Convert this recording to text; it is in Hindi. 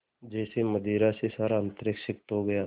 जैसे मदिरा से सारा अंतरिक्ष सिक्त हो गया